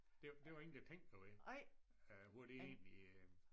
Det det der ingen der tænker ved øh hvor det egentlig